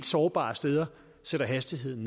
sårbare steder sætter hastigheden